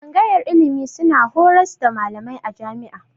Tsangayar ilimi suna horars da malamai a jami'a